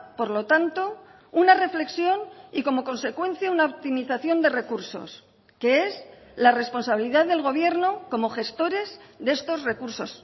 por lo tanto una reflexión y como consecuencia una optimización de recursos que es la responsabilidad del gobierno como gestores de estos recursos